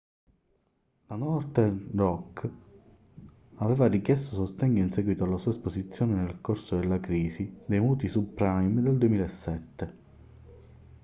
la northern rock aveva richiesto sostegno in seguito alla sua esposizione nel corso della crisi dei mutui subprime del 2007